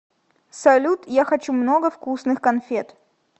салют я хочу много вкусных конфет